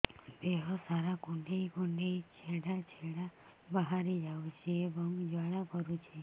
ଦେହ ସାରା କୁଣ୍ଡେଇ କୁଣ୍ଡେଇ ଛେଡ଼ା ଛେଡ଼ା ବାହାରି ଯାଉଛି ଏବଂ ଜ୍ୱାଳା କରୁଛି